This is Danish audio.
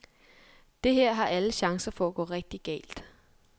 Det her har alle chancer for at gå rigtig galt.